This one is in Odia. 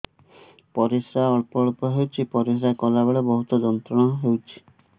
ପରିଶ୍ରା ଅଳ୍ପ ଅଳ୍ପ ହେଉଛି ପରିଶ୍ରା କଲା ବେଳେ ବହୁତ ଯନ୍ତ୍ରଣା ହେଉଛି